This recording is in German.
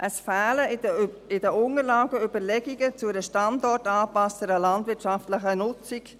– Es fehlen in den Unterlagen Überlegungen zu einer standortangepassteren landwirtschaftlichen Nutzung.